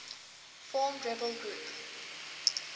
formed rebel group